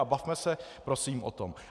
A bavme se prosím o tom.